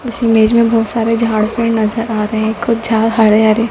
इस इमेज में बहुत सारे झाड़ पेड़ नजर आ रहे हैं कुछ झाड़ हरे हरे--